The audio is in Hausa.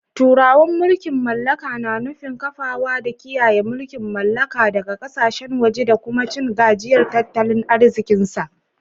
Turawan mulkin mallaka na nufin kafawa da kiyaye mulkin mallaka daga kasashen waje da kuma cin gajiyar tattalin arzikinsa